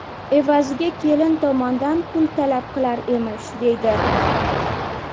Evaziga kelin tomondan pul talab qilar emish”, deydi.